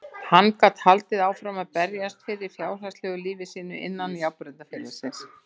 Hann gat haldið áfram að berjast fyrir fjárhagslegu lífi sínu innan járnbrautarfélagsins.